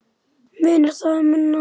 Munar þar um minna.